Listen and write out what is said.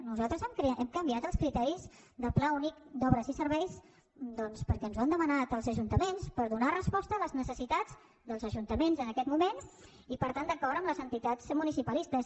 nosaltres hem canviat els criteris del pla únic d’obres i serveis doncs perquè ens ho han demanat els ajuntaments per donar resposta a les necessitats dels ajuntaments en aquest moment i per tant d’acord amb les entitats municipalistes